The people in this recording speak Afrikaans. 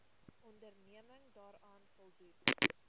onderneming daaraan voldoen